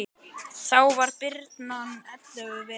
Þá var birnan ellefu vetra.